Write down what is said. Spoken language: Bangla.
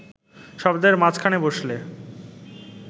শব্দের মাঝখানে বসলে